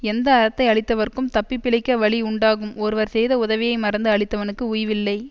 எந்த அறத்தை அழித்தவர்க்கும் தப்பி பிழைக்க வழி உண்டாகும் ஒருவர் செய்த உதவியை மறந்து அழித்தவனுக்கு உய்வில்லை